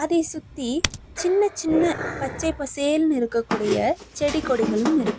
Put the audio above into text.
அதை சுத்தி சின்ன சின்ன பச்சை பசேல்ன்னு இருக்கக்கூடிய செடி கொடிகளும் இரு --